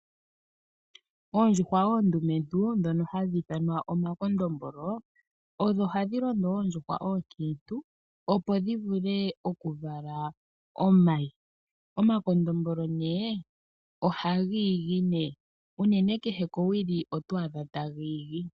Oondjuhwa oondumentuu dhono hadhiithwanwa omakondombolo, odho hadhi londo oondjuhwa oonkiintu opo dhivule okuvala omayi. Omakondombolo nee ohagiigi nee unene kehe kowili otwaadha tagiigi.